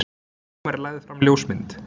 Dómari lagði fram ljósmynd